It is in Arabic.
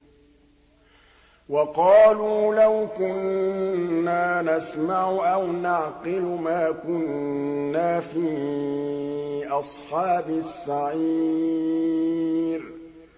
وَقَالُوا لَوْ كُنَّا نَسْمَعُ أَوْ نَعْقِلُ مَا كُنَّا فِي أَصْحَابِ السَّعِيرِ